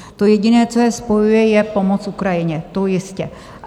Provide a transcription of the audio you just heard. To jediné, co je spojuje, je pomoc Ukrajině, to jistě.